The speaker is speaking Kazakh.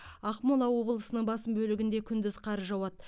ақмола облысының басым бөлігінде күндіз қар жауады